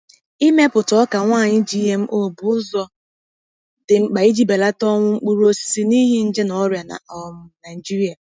Ịmepụta ọka nwaanyị GMO bụ ụzọ dị mkpa iji belata ọnwụ mkpụrụ osisi n’ihi nje na ọrịa na um Nigeria.